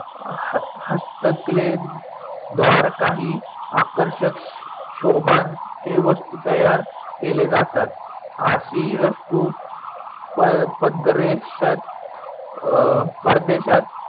हस्तकले द्वार काही आकर्षक शोबचे वस्तु तयार केले जातात. आशी वस्तु अं परदेशात